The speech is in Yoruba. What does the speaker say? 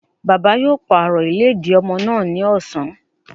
Bàbá yóò pàrọ̀ ìlédìí ọmọ ìkókó náà ni ọ̀sán